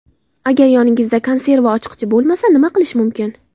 Agar yoningizda konserva ochqichi bo‘lmasa, nima qilish mumkin?.